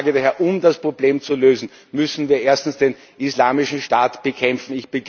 Ich sage daher Um das Problem zu lösen, müssen wir erstens den Islamischen Staat bekämpfen.